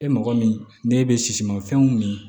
E mɔgɔ min ne bɛ sisimanfɛnw min